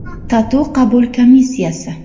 TATU qabul komissiyasi.